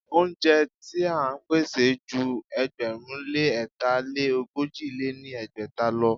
Óúnjẹ ti à ń pèsè ju ẹgbẹ̀rún lé ẹ̀ta lé ogójì lé ní ẹgbẹ́ta lọ.